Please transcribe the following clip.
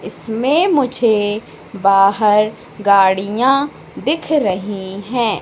इसमें मुझे बाहर गाड़ियां दिख रही है।